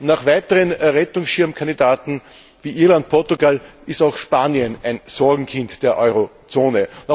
Nach weiteren Rettungsschirmkandidaten wie Irland und Portugal ist auch Spanien ein Sorgenkind der Eurozone.